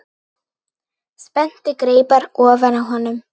Spennti greipar ofan á honum.